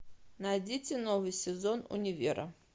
найдите новый сезон универа